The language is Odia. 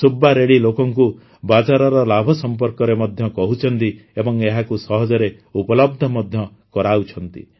ସୁବ୍ବା ରେଡ୍ଡି ଲୋକଙ୍କୁ ବାଜରାର ଲାଭ ସମ୍ପର୍କରେ ମଧ୍ୟ କହୁଛନ୍ତି ଏବଂ ଏହାକୁ ସହଜରେ ଉପଲବ୍ଧ ମଧ୍ୟ କରାଉଛନ୍ତି